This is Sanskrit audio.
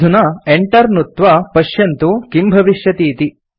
अधुना enter नुत्त्वा पश्यन्तु किम् भविष्यति इति